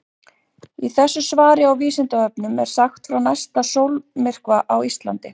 Í þessu svari á Vísindavefnum er sagt frá næsta sólmyrkva á Íslandi.